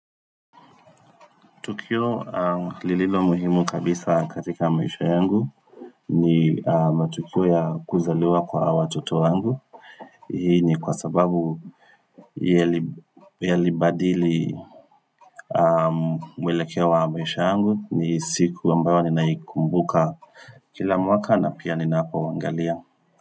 Tukio lililo muhimu kabisa katika maisha yangu ni matukio ya kuzaliwa kwa hawa watoto wangu. Hii ni kwa sababu yalibadili mwelekeo wa maisha yangu ni siku ambayo ninayikumbuka kila mwaka na pia ninapowaangalia.